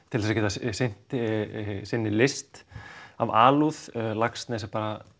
til að geta sinnt sinni list af alúð Laxness er